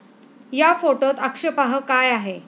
या फोटोत आक्षेपार्ह काय आहे?